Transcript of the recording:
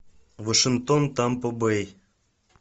вашингтон тампа бэй